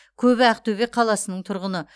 көбі ақтөбе қаласының тұрғыны